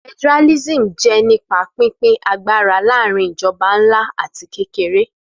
Federalism jẹ́ nípa pínpín agbára láàrin ìjọba ńlá àti kékeré